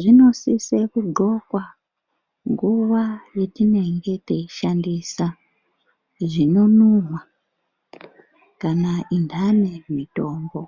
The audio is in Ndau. zvinosise kudxokwa nguwa yatinenge teishandisa zvinonhuwa kana intani mutombo.